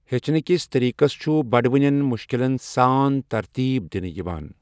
ہچنٕکسِ طریقسَ چھُ بڑوٕنٮ۪ن مشکِلن سان ترتیٖب دِنہٕ یِوان۔